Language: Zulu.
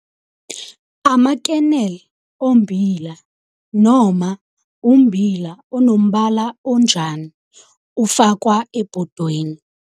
Ama kernel ommbila, noma ummbila onombala onjani, ufakwa ebhodweni.